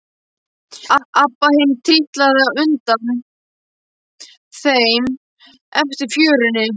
Abba hin trítlaði á undan þeim eftir fjörunni.